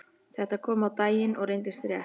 Þetta kom á daginn og reyndist rétt.